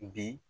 Bi